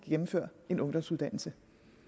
gennemføre en ungdomsuddannelse